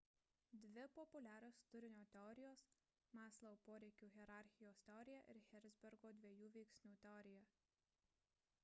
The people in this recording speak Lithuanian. dvi populiarios turinio teorijos – maslow poreikių hierarchijos teorija ir herzbergo dviejų veiksnių teorija